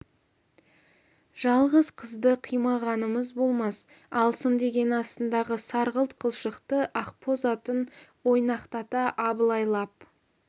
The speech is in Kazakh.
жалғыз қызды қимағанымыз болмас алсын деген астындағы сарғылт қылшықты ақбоз атын ойнақтата абылайлап